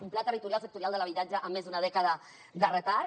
un pla territorial sectorial de l’habitatge amb més d’una dècada de retard